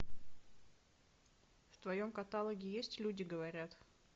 в твоем каталоге есть люди говорят